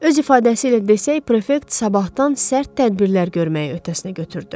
Öz ifadəsi ilə desək, prefekt sabahdan sərt tədbirlər görməyi öhdəsinə götürdü.